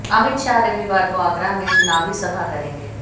अमित शाह रविवार को आगरा में चुनावी सभा करेंगे